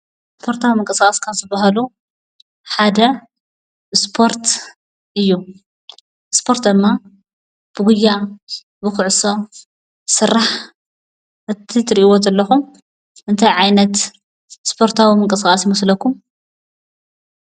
መሰራተዊ ምንቅስቃስ ካብ ዝባሃሉ ሓደ እስፖርት እዩ፡፡ እስፖርት ድማ ብጉያ፣ ብኩዕሶ ዝስራሕ እቲ እትርእይዎ ዘለኩም እንታይ ዓይነት እስፖርታዊ ምንቅስቃስ ይመስለኩም?